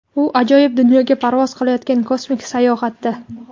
u ajoyib dunyoga parvoz qilayotgan kosmik sayohatda.